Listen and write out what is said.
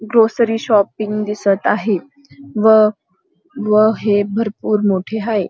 Grocery shopping दिसत आहे व व हे भरपूर मोठे आहे.